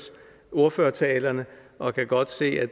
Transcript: ordførertalerne og kan godt se at